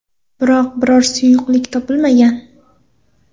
Biroq, biror bir suyuqlik topilmagan.